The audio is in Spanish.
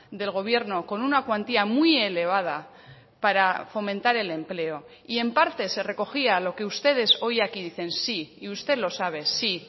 del gobierno con una cuantía muy elevada para fomentar el empleo y en parte se recogía lo que ustedes hoy aquí dicen sí y usted lo sabe sí